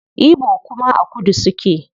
Igbo kuma a kudu suke